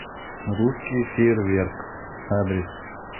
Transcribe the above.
русский фейерверк адрес